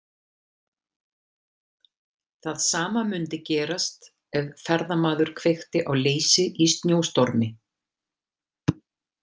Það sama mundi gerast ef ferðamaður kveikti á leisi í snjóstormi.